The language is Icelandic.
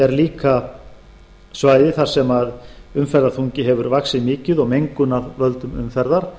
er líka svæði þar sem umferðarþungi hefur vaxið mikið og mengun af völdum umferðar